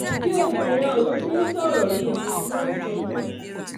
bí obìnrin ọ̀hún ti ń sọ̀rọ̀ yìí ló ń sunkún